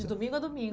De domingo a domingo.